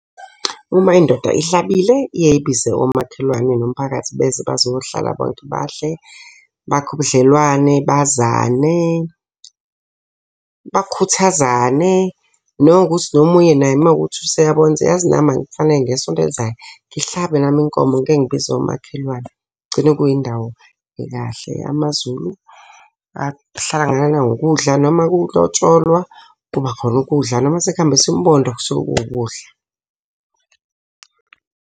Uma indoda ihlabile iyaye ibize omakhelwane nomphakathi beze bazohlala bonke badle, bakhe ubudlelwane, bazane, bakhuthazane. Nanokuthi nomunye naye uma kuwukuthi useyabona ukuthi yazi nami kufanele ngesonto elizayo, ngihlabe nami inkomo ngike ngibize omakhelwane. Kugcine kuyindawo ekahle. Amazulu ahlangana ngokudla noma kulotsholwa, kuba khona ukudla. Noma sekuhanjiswa umbondo kusuke kuwukudla.